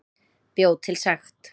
Bjó til sekt